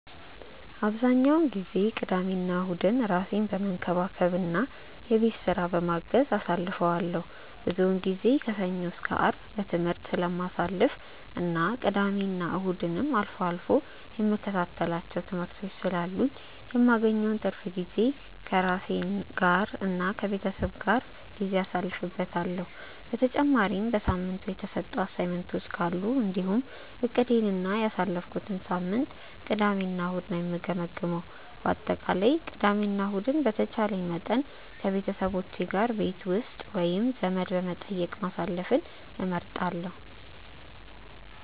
አብዛኛውን ጊዜ ቅዳሜና እሁድን ራሴን በመንከባከብ እና የቤት ስራ በማገዝ አሳልፈዋለሁ። ብዙውን ጊዜ ከሰኞ እስከ አርብ በትምህርት ስለማሳልፍ እና ቅዳሜና እሁድም አልፎ አልፎ የምከታተላቸው ትምህርቶች ስላሉኝ የማገኘውን ትርፍ ጊዜ ከራሴ ጋር እና ከቤተሰቤ ጋር ጊዜ አሳልፍበታለሁ። በተጨማሪም በሳምንቱ የተሰጡ አሳይመንቶች ካሉ እንዲሁም እቅዴን እና ያሳለፍኩትን ሳምንት ቅዳሜ እና እሁድ ነው የምገመግመው። በአጠቃላይ ቅዳሜ እና ከእሁድ በተቻለኝ መጠን ከቤተሰቦቼ ጋር ቤት ውስጥ ወይም ዘመድ በመጠየቅ ማሳለፍን እመርጣለሁ።